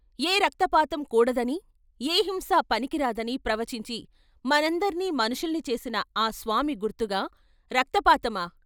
ఏ రక్తపాతం కూడదని, ఏ హింస పనికిరాదని ప్రవచించి మనందర్నీ మనుషుల్ని చేసిన ఆ స్వామి గుర్తుగా రక్తపాతమా?